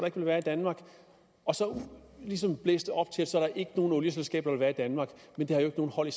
ikke vil være i danmark og så ligesom blæse det op til at så er der ikke nogen olieselskaber der vil være i danmark men det har jo ikke hold i